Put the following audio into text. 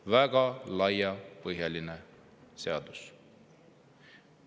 Väga laiapõhjaline seadus.